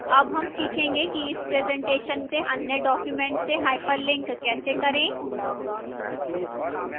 अब हम सीखेंगे कि इस presentation से अन्य document से hyperlink कैसे करें